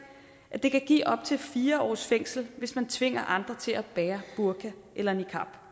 at det kan give op til fire års fængsel hvis man tvinger andre til at bære burka eller niqab